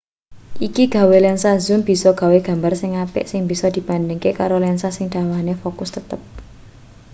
iki gawe lensa zoom bisa gawe gambar sing apik sing bisa dibandhingke karo lensa sing dawane fokus tetep